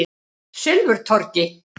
Silfurtorgi